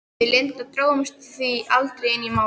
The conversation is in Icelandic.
Við Linda drógumst því aldrei inn í Málið.